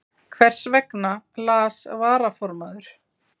Hversvegna las varaformaður